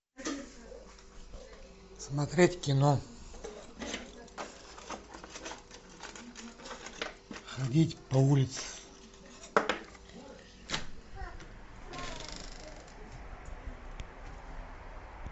смотреть кино ходить по улице